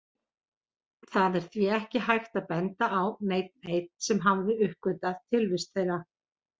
Það er því ekki hægt að benda á neinn einn sem hafi uppgötvað tilvist þeirra.